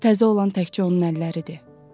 Təzə olan təkcə onun əlləridir.